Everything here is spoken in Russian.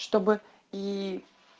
чтобы и